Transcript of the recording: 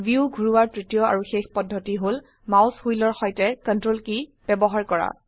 view ঘোৰোৱাৰ তৃতীয় আৰু শেষ পদ্ধতি হল মাউস হুইলৰ সৈতে CTRL কী ব্যবহাৰ কৰা